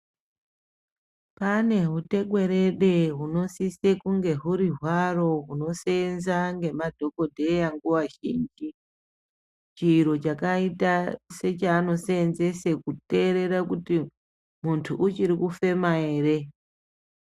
Pane hutekwerede hunosise kunge huri hwaro huno senza ngemadhogodheya nguva zhinji, chiro chakaita sechaanosenzese kuterere kuti muntu uchiri kufema here.